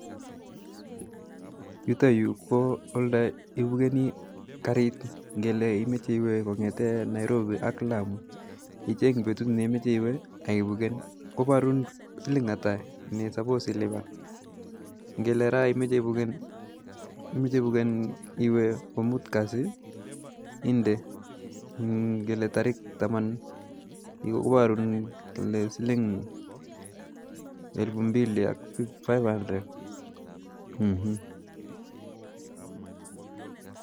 Yuto yuu ko olee ibukeni kariit ngele imoche iwee Kong'eten Nairobi ak Lamu icheng betut neimoche iwee kaibuken, koborun siling'ata ne suppose iliban, ngele raa imoche ibuken iwee komut kasi inde ng'ele torikit taman iborun kole siling elibu mbili five hundred Um.